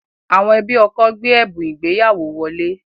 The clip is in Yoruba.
Àwọn ẹbí ọkọ gbé ẹ̀bùn ìgbéyàwó wọlé